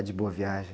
A de Boa Viagem.